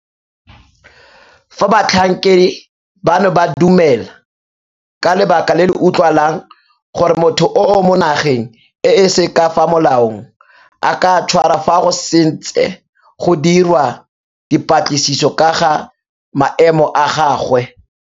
Fa batlhankedi bano ba dumela, ka lebaka le le utlwalang, gore motho o mo nageng e se ka fa molaong, a ka tshwarwa fa go santse go dirwa dipatlisiso ka ga maemo a gagwe.